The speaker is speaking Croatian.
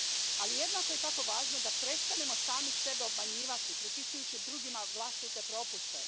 Ali jednako je tako važno da prestanemo sami sebe obmanjivati pripisujući drugima vlastite propuste.